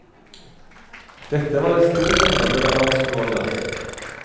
Dette var et stort område der dansk lov gjaldt.